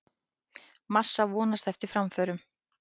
Massa vonast eftir framförum